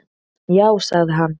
"""Já, það sagði hann."""